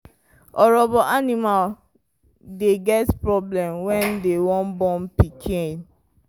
orobo animal dey get problem when dem wan born pikin